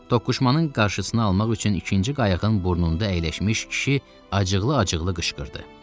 Toqquşmanın qarşısını almaq üçün ikinci qayığın burnunda əyləşmiş kişi acıqlı-acıqlı qışqırdı.